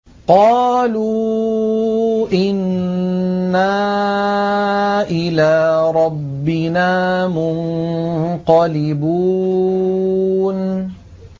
قَالُوا إِنَّا إِلَىٰ رَبِّنَا مُنقَلِبُونَ